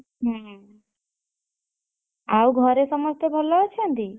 ହଁ। ଆଉ ଘରେ ସମସ୍ତେ ଭଲ ଅଛନ୍ତି?